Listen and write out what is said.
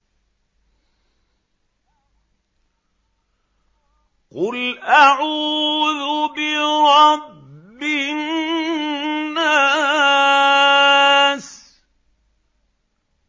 قُلْ أَعُوذُ بِرَبِّ النَّاسِ